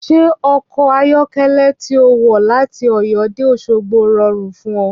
Ṣé ọkọ̀ ayọ̀kẹ́lẹ́ tí ó wọ láti Ọ̀yọ́ dé Òṣogbo rọrùn fún ọ?